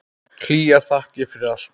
Hlýjar þakkir fyrir allt.